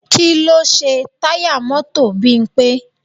Kí ló ṣe táyà mọ́tò Bímpé?